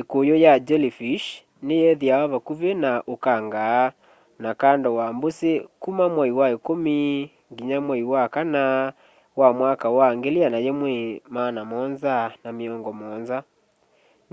ikuyu ya jellyfish ni yithiawa vakuvi na ukanga na kando wa mbũsi kũma mwai wa ikũmi nginya mwai wa kana wa mwaka wa 1770